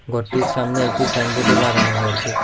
ঘরটির সামনে একটি ছাইনবোর্ড -ও লাগানো হয়েছে।